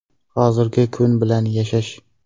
Hozirgi kun bilan yashash.